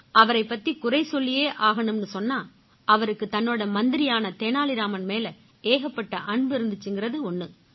அவரைப் பத்தி குறை சொல்லியே ஆகணும்னு சொன்னா அவருக்கு தன்னோட மந்திரியான தெனாலி ராமன் மேல ஏகப்பட்ட அன்பு இருந்திச்சுங்கறது ஒண்ணு